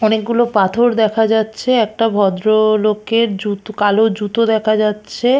অনেক গুলো পাথর দেখা যাচ্ছে। একটা ভদ্র-ও লোকের জুতো কালো জুতো দেখা যাচ্ছে।